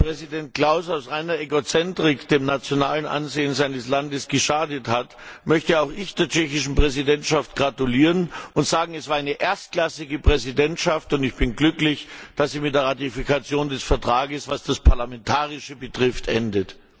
Nachdem Präsident Klaus aus reiner Egozentrik dem nationalen Ansehen seines Landes geschadet hat, möchte auch ich der tschechischen Präsidentschaft gratulieren und sagen Es war eine erstklassige Präsidentschaft und ich bin glücklich, dass sie mit der Ratifikation des Vertrags, was das Parlamentarische betrifft, endet.